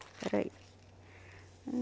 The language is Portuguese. Espera aí.